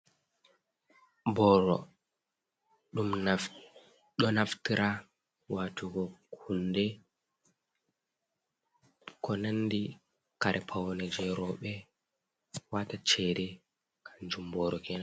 Booro ɗum ɗo naftira watugo hunde, ko nandi kare paune jei rooɓe, wata cede kanjum boro kenan.